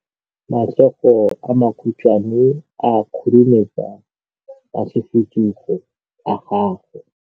matsogo a makhutshwane a khurumetsa masufutsogo a gago